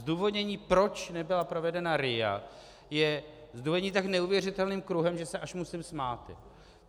Zdůvodnění, proč nebyla provedena RIA, je zdůvodnění tak neuvěřitelným kruhem, že se až musím smát.